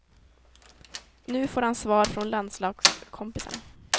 Nu får han svar från landslagskompisarna.